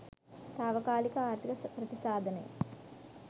තාවකාලික ආර්ථික ප්‍රතිසාධනය